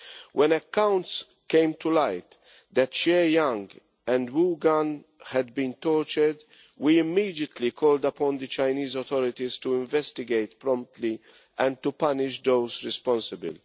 When accounts came to light that Xie Yang and Wu Gan had been tortured, we immediately called upon the Chinese authorities to investigate promptly and to punish those responsible.